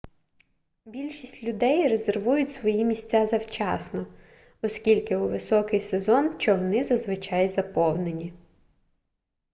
більшість людей резервують свої місця завчасно оскільки у високий сезон човни зазвичай заповнені